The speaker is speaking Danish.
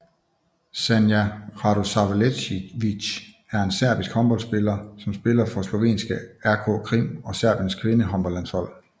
Sanja Radosavljević er en serbisk håndboldspiller som spiller for slovenske RK Krim og Serbiens kvindehåndboldlandshold